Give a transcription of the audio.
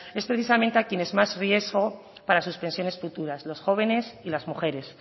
es precisamente a quienes más riesgo para sus pensiones futuras los jóvenes y las mujeres